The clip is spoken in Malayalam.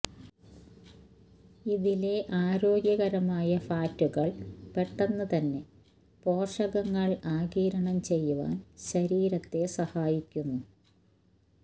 ഇതിലെ ആരോഗ്യകരമായ ഫാറ്റുകള് പെട്ടെന്നു തന്നെ പോഷകങ്ങള് ആഗിരണം ചെയ്യുവാന് ശരീരത്തെ സഹായിക്കുന്നു